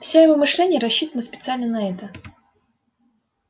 все его мышление рассчитано специально на это